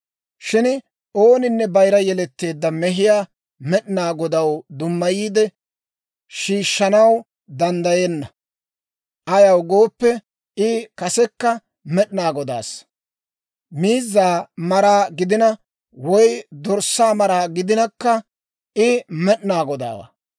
« ‹Shin ooninne bayira yeletteedda mehiyaa Med'inaa Godaw dummayiide shiishshanaw danddayenna; ayaw gooppe, I kasekka Med'inaa Godaassa. Miizzaa mara gidina woy dorssaa mara gidinakka I Med'inaa Godaawaa.